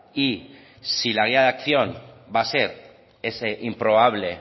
y si la guía de acción va a ser esa improbable